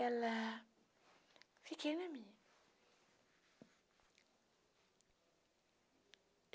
Ela... Fiquei na minha.